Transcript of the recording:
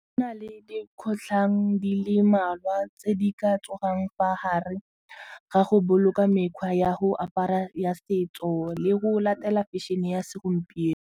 Go na le dikgotlhang di le mmalwa tse di ka tsoga jang fa gare ga go boloka mekgwa ya go apara ya setso le go latela fashion-e ya segompieno.